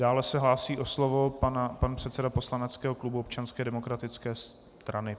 Dále se hlásí o slovo pan předseda poslaneckého klubu Občanské demokratické strany.